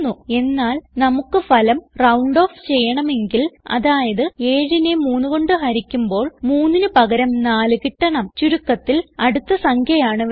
എന്നാൽ നമുക്ക് ഫലം റൌണ്ട് ഓഫ് ചെയ്യണമെങ്കിൽ അതായത് 7നെ 3 കൊണ്ട് ഹരിക്കുമ്പോൾ 3 ന് പകരം 4 കിട്ടണം ചുരുക്കത്തിൽ അടുത്ത സംഖ്യ ആണ് വേണ്ടത്